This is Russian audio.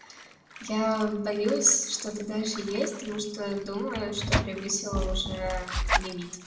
я боюсь что-то дальше есть потому что думаю что превысила уже лимит